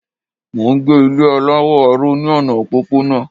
Mò n gbé Ilé aláwọ̀ aró ní ọ̀nà òpópónà